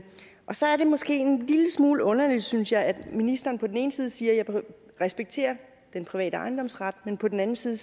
og så er det måske en lille smule underligt synes jeg at ministeren på den ene side siger at han respekterer den private ejendomsret men på den anden side